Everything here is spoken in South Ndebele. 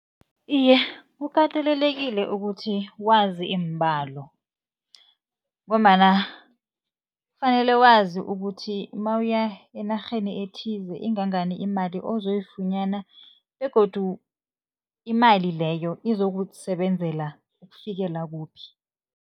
Iye, kukatelelekile ukuthi wazi iimbalo, ngombana kufanele wazi ukuthi nawuya enarheni ethize ingangani imali ozoyifunyana begodu imali leyo izokusebenzela ukufikela kuphi.